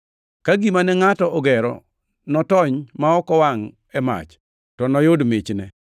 Ka gima ne ngʼato ogero notony ma ok owangʼ e mach, to noyud michne.